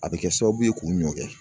A bɛ kɛ sababu ye k'u ɲɔkɛ